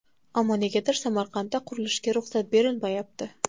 Ammo negadir Samarqandda qurilishga ruxsat berilmayapti.